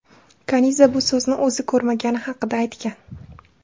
Kaniza bu so‘zni o‘zi ko‘rmagani haqida aytgan.